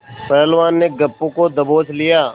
पहलवान ने गप्पू को दबोच लिया